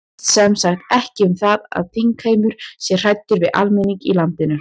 Þetta snýst sem sagt ekki um það að þingheimur sé hræddur við almenning í landinu?